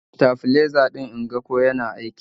Kunna stafliza din inga ko yana aiki